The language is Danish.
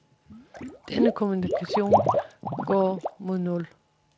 Denne kommunikation går mod nul.